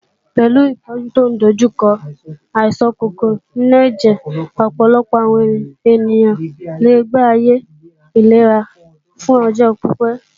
Pẹ̀lú ìtọ́jú tó ń dojú kọ àìsàn kòkòrò inú ẹ̀jẹ̀, ọ̀pọ̀lọpọ̀ àwọn ènìyàn lè gbé ayé ìlera fún ọjọ́ pípé.